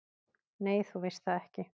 """Nei, þú veist það ekki."""